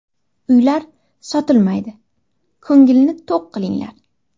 Uylar sotilmaydi, ko‘ngilni to‘q qilinglar.